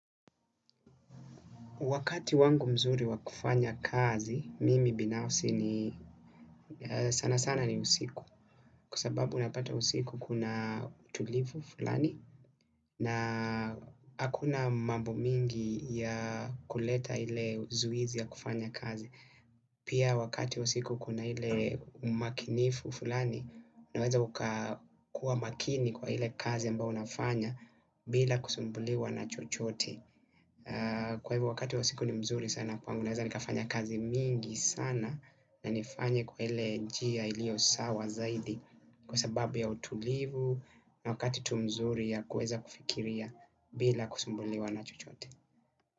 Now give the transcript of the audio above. Wakati wangu mzuri wakufanya kazi, mimi binafsi ni sana sana ni usiku. Kwa sababu unapata usiku kuna utulifu fulani na hakuna mambo mingi ya kuleta ile uzuizi ya kufanya kazi. Pia wakati usiku kuna ile umakinifu fulani unaweza ukakuwa makini kwa ile kazi ambao unafanya bila kusumbuliwa na chochote. Kwa hivo wakati wa siku ni mzuri sana kwangu naweza nikafanya kazi mingi sana. Na nifanye kwa ile njia ilio sawa zaidi. Kwa sababu ya utulivu na wakati tu mzuri ya kuweza kufikiria bila kusumbuliwa na chochote.